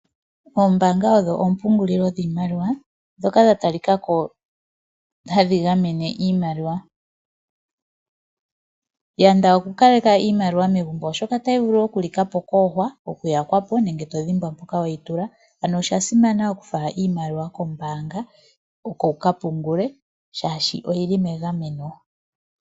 Oombaanga odho oompungulilo dhiimaliwa ndhoka dha talika ko hadhi gamene iimaliwa. Yanda oku kaleka iimaliwa megumbo oshoka otayi vulu oku likapo kuuhwa, okuyakwa po nenge todhimbwa mpoka weyi tula. Ano osha simana oku fala iimaliwa kombaanga oko wuka pungule shaashi oyili megameno.